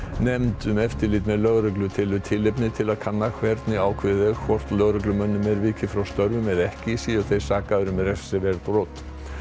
nefnd um eftirlit með lögreglu telur tilefni til að kanna hvernig ákveðið er hvort lögreglumönnum er vikið frá störfum eða ekki séu þeir sakaðir um refsiverð brot